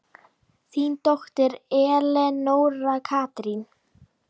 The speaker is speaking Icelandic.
Þín dóttir, Elenóra Katrín.